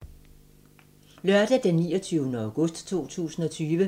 Lørdag d. 29. august 2020